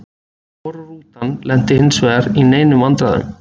Hvorug rútan lenti hinsvegar í neinum vandræðum.